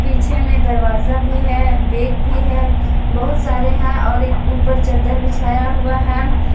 पीछे में दरवाजा भी है बैग भी है बहुत सारे है और एक ऊपर चद्दर बिछाया हुआ है।